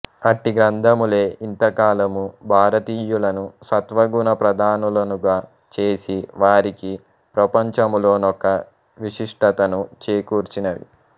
అట్టి గ్రంథములే యింతకాలము భారతీయులను సత్వగుణ ప్రధానులనుగ చేసి వారికి ప్రపంచములో నొక విశిష్టతను చేకూర్చినవి